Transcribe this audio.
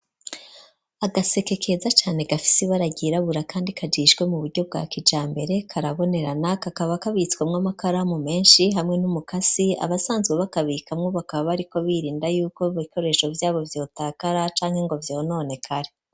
Agaseke keza cane gafise ibara ryirabura kandi kajishwe mu buryo bwa kijambere karabonerana, kakaba kabitswemwo amakaramu menshi hamwe n'umukasi. Abasanzwe bakabikamwo bakaba bariko birinda yuko ibikoresho vyabo vyotakara canke ngo vyononekare.